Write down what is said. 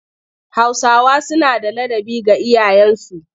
Hausawa suna da ladabi ga iyayensu